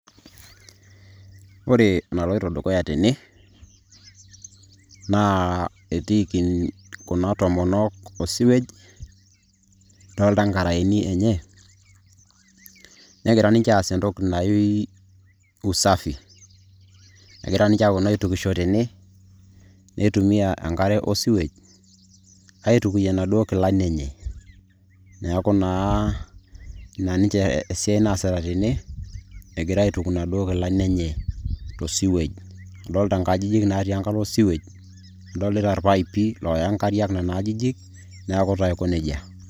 Etii kuna tomonok osiwej o nkaraeni enye egira aas usafi. Egira aaitukisho tene aaitumia enkare osiwej aaitukuyie inkilani enye. Adolita inkajijik naatii enkalo osiwej orpaipi looya inkariak nena ajijik